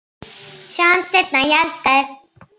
Sjáumst seinna, ég elska þig.